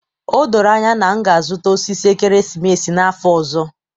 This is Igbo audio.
O doro anya na nna m ga-azụta osisi ekeresimesi n'afọ ọzọ